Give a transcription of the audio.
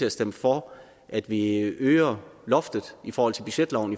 at stemme for at vi øger loftet i forhold til budgetloven